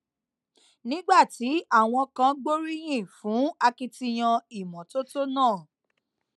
nígbà tí àwọn kan gbóríyìn fún akitiyan ìmótótó náà